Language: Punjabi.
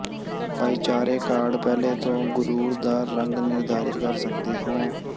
ਭਾਈਚਾਰੇ ਕਾਰਡ ਪਹਿਲੇ ਦੋ ਗੁਰੁਰ ਦਾ ਰੰਗ ਨਿਰਧਾਰਿਤ ਕਰ ਸਕਦੇ ਹੋ